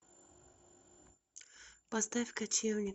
поставь кочевник